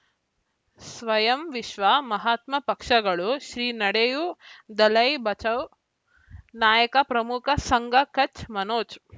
ಸ್ವಯಂ ವಿಶ್ವ ಮಹಾತ್ಮ ಪಕ್ಷಗಳು ಶ್ರೀ ನಡೆಯೂ ದಲೈ ಬಚೌ ನಾಯಕ ಪ್ರಮುಖ ಸಂಘ ಕಚ್ ಮನೋಜ್